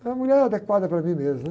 Era a mulher adequada para mim mesmo.